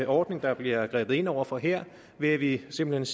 ordning der bliver grebet ind over for her ved at vi simpelt